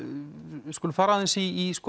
við skulum fara aðeins í